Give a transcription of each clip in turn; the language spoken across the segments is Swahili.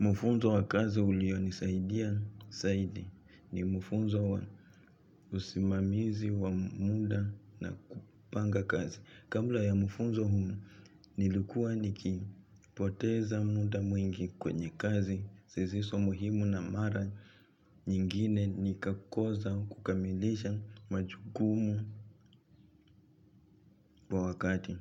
Mufunzo wa kazi ulionisaidia zaidi ni mufunzo wa usimamizi wa muda na kupanga kazi. Kabla ya mufunzo huu nilikuwa nikipoteza muda mwingi kwenye kazi zisizo muhimu na mara nyingine nikakosa kukamilisha majukumu kwa wakati.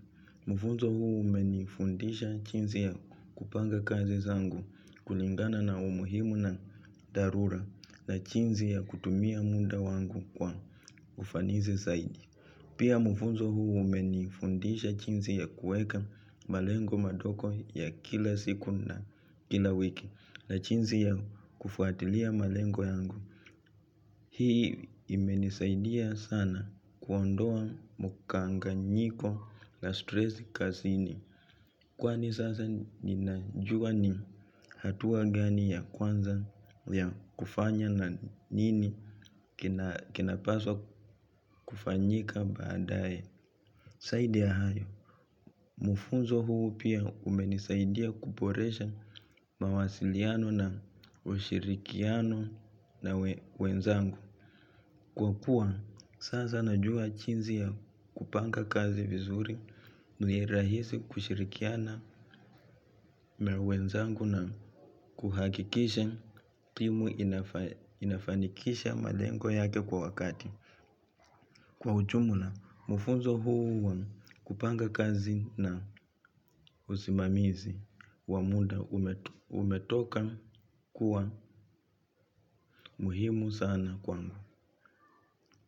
Mfunzo huu umenifundisha jinsi ya kupanga kazi zangu kulingana na umuhimu na dharura na jinsi ya kutumia muda wangu kwa ufanisi zaidi. Pia mfunzo huu umenifundisha jinsi ya kueka malengo madogo ya kila siku na kila wiki na jinsi ya kufuatilia malengo yangu. Hii imenisaidia sana kuondoa mkanganyiko la stress kazini. Kwani sasa ninajua ni hatua gani ya kwanza ya kufanya na nini kinapaswa kufanyika baadaye. Zaidi ya hayo mufunzo huu pia umenisaidia kuboresha mawasiliano na ushirikiano na wenzangu. Kwa kuwa, sasa najua jinsi ya kupanga kazi vizuri, ni rahisi kushirikiana na wenzangu na kuhakikisha timu inafanikisha malengo yake kwa wakati. Kwa ujumla, mfunzo huu kupanga kazi na usimamizi, wa muda umetoka kuwa muhimu sana kwangu.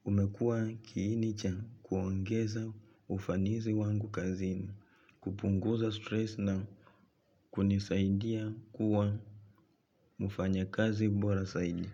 Umekua kiini cha kuongeza ufanisi wangu kazini, kupunguza stress na kunisaidia kuwa mfanyakazi bora zaidi.